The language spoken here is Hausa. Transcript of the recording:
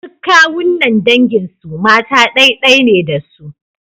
Duk kawunnan dangin mu mata ɗai-ɗai ne da su.